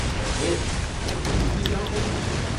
ઓહ, મેં પોલીસને જાણ કરી નથી.